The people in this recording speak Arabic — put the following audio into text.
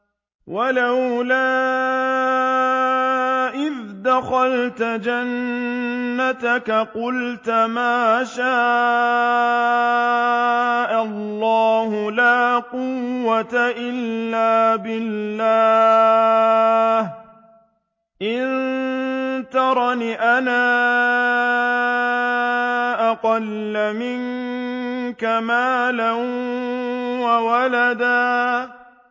وَلَوْلَا إِذْ دَخَلْتَ جَنَّتَكَ قُلْتَ مَا شَاءَ اللَّهُ لَا قُوَّةَ إِلَّا بِاللَّهِ ۚ إِن تَرَنِ أَنَا أَقَلَّ مِنكَ مَالًا وَوَلَدًا